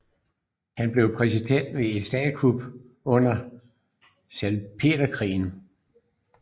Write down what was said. Han blev præsident ved et statskup under Salpeterkrigen